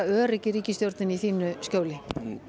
örugg í ríkisstjórninni í þínu skjóli